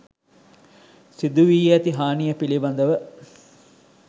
සිදු වී ඇති හානිය පිළිබඳව